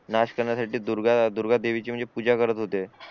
Nash करण्यासाठी दुर्गा देवीची म्हणजे पूजा करत होते